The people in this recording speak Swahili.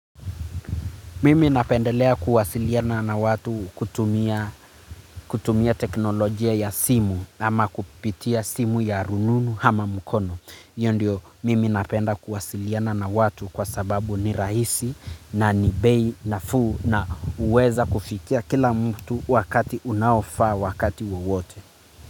Mimi napendelea kuwasiliana na watu kutumia teknolojia ya simu ama kupitia simu ya rununu ama mkono. Hio ndio mimi napenda kuwasiliana na watu kwa sababu ni rahisi na ni bei nafuu na huweza kufikia kila mtu wakati unaofaa wakati wowote.